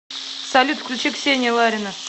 салют включи ксения ларина